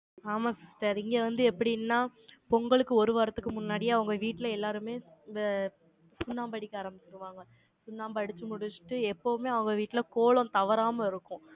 ஆமாம், sister இங்க வந்து எப்படின்னா, பொங்கலுக்கு ஒரு வாரத்துக்கு முன்னாடி, அவங்க வீட்டுல எல்லாருமே, இந்த சுண்ணாம்பு அடிக்க ஆரம்பிச்சிருவாங்க. சுண்ணாம்பு அடிச்சு முடிச்சுட்டு, எப்பவுமே அவங்க வீட்டுல, கோலம் தவறாம இருக்கும்.